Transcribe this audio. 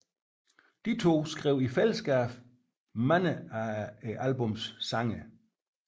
De to skrev i fællesskab mange af albummets sange